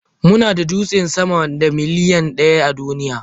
Muna da dutse sama da miliyan ɗaya a duniya.